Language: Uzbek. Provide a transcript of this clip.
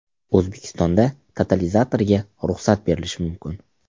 O‘zbekistonda totalizatorga ruxsat berilishi mumkin .